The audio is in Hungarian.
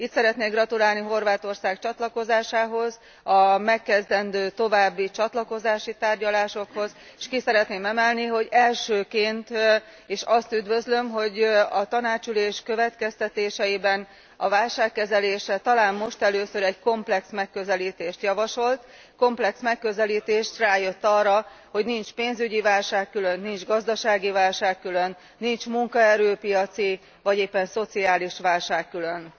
Itt szeretnék gratulálni Horvátország csatlakozásához, a megkezdendő további csatlakozási tárgyalásokhoz, és elsőként ki szeretném emelni, hogy üdvözlöm, hogy a Tanács következtetéseiben a válságkezelésre talán most először egy komplex megközelítést javasolt, komplex megközelítést, rájött arra, hogy nincs pénzügyi válság külön, nincs gazdasági válság külön, nincs munkaerő piaci vagy éppen szociális válság külön.